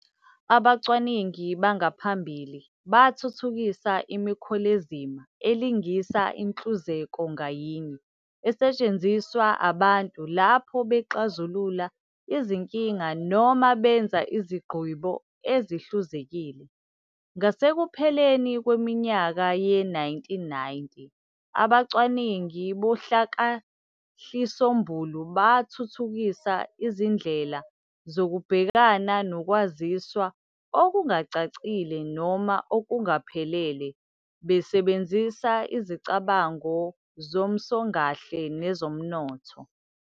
Abacwaningi bangaphambili bathuthukisa imikholezima elingisa inhluzeko ngayinye esetshenziswa abantu lapho bexazulula izinkila noma benza izgqibo ezihluzekile. Ngasekupheleni kweminyaka ye-1990, abacwaningi bohlakakahlisombulu bathuthukisa izindlelasu zokubhekana nokwaziswa okungacacile noma okungaphelele, besebenzisa izicabango zomsongahle nezomnotho.